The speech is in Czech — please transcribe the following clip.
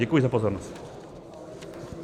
Děkuji za pozornost.